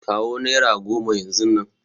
Kawo nera goma yanzun nan!